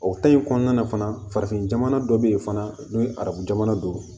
O in kɔnɔna na fana farafin jamana dɔ be yen fana n'o ye arabu jamana don